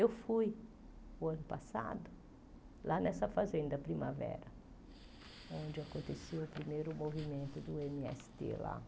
Eu fui, no ano passado, lá nessa fazenda Primavera, onde aconteceu o primeiro movimento do ême ése tê lá.